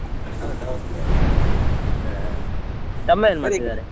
ಹೌದಾ okay okay ಆ ತಮ್ಮ ಏನ್ ಮಾಡ್ತಾ ಇದ್ದಾರೆ?